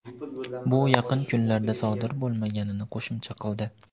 bu yaqin kunlarda sodir bo‘lmaganini qo‘shimcha qildi.